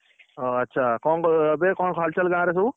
ହଉ ଆଚ୍ଛା କଣ ଏବେ କଣ ହାଲଚାଲ ଗାଁ ରେ ସବୁ।